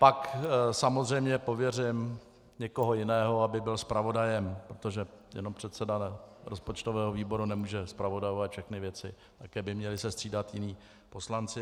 Pak samozřejmě pověřím někoho jiného, aby byl zpravodajem, protože jenom předseda rozpočtového výboru nemůže zpravodajovat všechny věci, také by se měli střídat jiní poslanci.